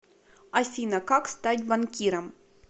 афина как стать банкиром